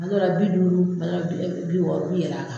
Tuma dɔ la bi duuru , tuma dɔ la bi bi wɔɔrɔ bi yɛl'a kan